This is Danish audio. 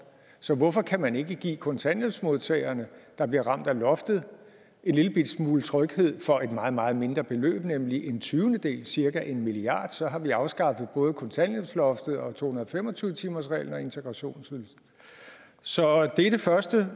så hvorfor kan man ikke give kontanthjælpsmodtagerne der bliver ramt af loftet en lillebitte smule tryghed for et meget meget mindre beløb nemlig en tyvendedel cirka en milliard kr så har vi afskaffet både kontanthjælpsloftet og to hundrede og fem og tyve timersreglen og integrationsydelsen så det er det første